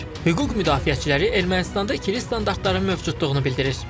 Hüquq müdafiəçiləri Ermənistanda ikili standartların mövcudluğunu bildirir.